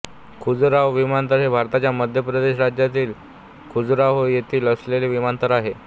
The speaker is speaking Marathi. खजुराहो विमानतळ हे भारताच्या मध्य प्रदेश राज्यातील खजुराहो येथे असलेले विमानतळ आहे